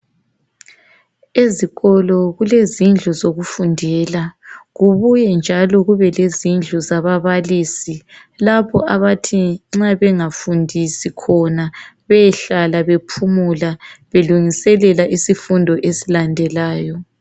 Ezikolo kule zindlu zokufundela, kubuye njalo kube lezindlu zababalisi. Lapho abathi nxa bengafundisi khona behlala bephumula belungiselela isifundo esilandelayo.